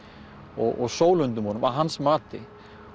og sólundum honum að hans mati